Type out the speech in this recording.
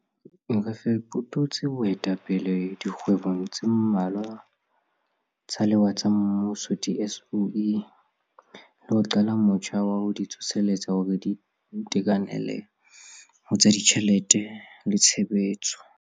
Re fetotse boetapele dikgwebong tse mmalwa tsa lewa tsa mmuso di-SOE, le ho qala motjha wa ho di tsoseletsa hore di itekanele ho tsa ditjhelete le tshebetso.